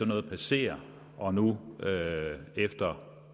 noget passere og nu efter